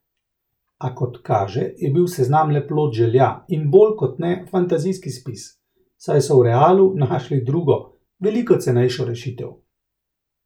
A, kot kaže, je bil seznam le plod želja in bolj kot ne fantazijski spis, saj so v Realu našli drugo, veliko cenejšo rešitev.